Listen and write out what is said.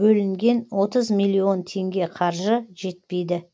бөлінген отыз миллион теңге қаржы жетпейді